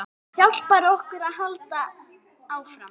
Hjálpar okkur að halda áfram.